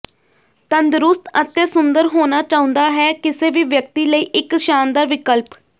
ਤੰਦਰੁਸਤ ਅਤੇ ਸੁੰਦਰ ਹੋਣਾ ਚਾਹੁੰਦਾ ਹੈ ਕਿਸੇ ਵੀ ਵਿਅਕਤੀ ਲਈ ਇੱਕ ਸ਼ਾਨਦਾਰ ਵਿਕਲਪ